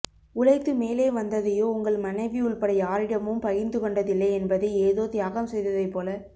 உழைத்து மேலே வந்ததையோ உங்கள் மனைவி உள்பட யாரிடமும் பகிர்ந்து கொண்டதில்லை என்பதை ஏதோ தியாகம் செய்ததைப் போலக்